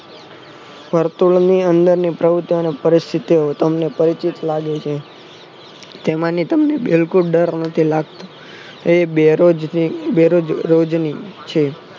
વર્તુળની અંદર પ્રવુતિઓને પરીસ્થિતિઓ તમને પરિચિત લાગે છે તેમાંની તમને બિલકુલ ડર નથી લાગતો એ બેરો જ બેરોજની છે